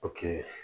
O kɛ